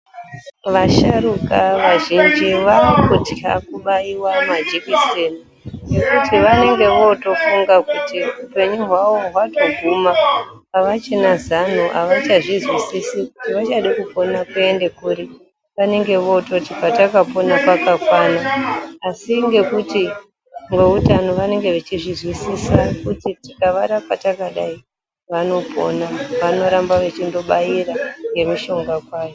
Vasharuka vazhinji vaakutya kubaiwa majikiseni ngekuti vanenge votofunga kuti upenyu hwavo hwatoguma avachina zano avachazvizwisisi kuti vachada kupona kuende kuri. Vanenge voototi patakapona pakakwana. Asi ngekuti veutano vanenge vechizwisisa kuti tikavarapa takadai vanopona vanoramba vechindobaira ngemishonga kwayo.